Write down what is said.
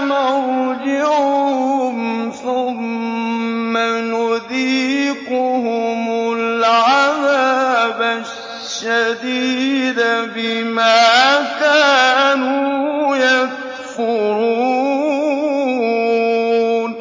مَرْجِعُهُمْ ثُمَّ نُذِيقُهُمُ الْعَذَابَ الشَّدِيدَ بِمَا كَانُوا يَكْفُرُونَ